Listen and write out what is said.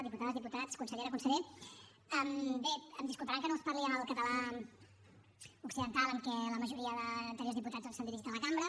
diputades diputats consellera conseller bé em disculparan que no els parli en el català occidental amb què la majoria d’anteriors diputats doncs s’han dirigit a la cambra